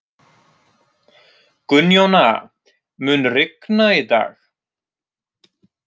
Gunnjóna, mun rigna í dag?